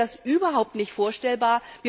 Bei uns wäre das überhaupt nicht vorstellbar.